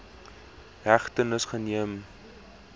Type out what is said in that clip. hegtenis geneem ii